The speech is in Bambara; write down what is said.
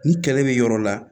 Ni kɛlɛ bɛ yɔrɔ la